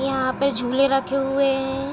यहाँ पे झूले रखे हुए हैं।